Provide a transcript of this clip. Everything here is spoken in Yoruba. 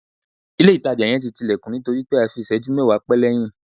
Ile itaja yen ti ti ilekun nitori pe a fi iseju mewa pe leyin